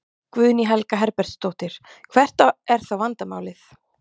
Guðný Helga Herbertsdóttir: Hvert er þá vandamálið?